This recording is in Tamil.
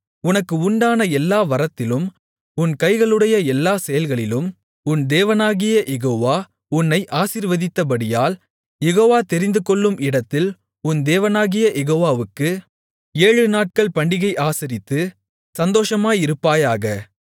உனக்கு உண்டான எல்லா வரத்திலும் உன் கைகளுடைய எல்லா செயலிலும் உன் தேவனாகிய யெகோவா உன்னை ஆசீர்வதித்தபடியால் யெகோவா தெரிந்துகொள்ளும் இடத்தில் உன் தேவனாகிய யெகோவாவுக்கு ஏழு நாட்கள் பண்டிகையை ஆசரித்து சந்தோஷமாயிருப்பாயாக